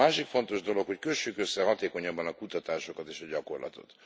Másik fontos dolog, hogy kössük össze hatékonyabban a kutatásokat és a gyakorlatot.